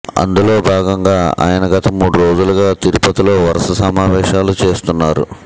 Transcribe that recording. అందులో భాగంగా ఈయన గత మూడు రోజులుగా తిరుపతి లో వరుస సమావేశాలు చేస్తున్నారు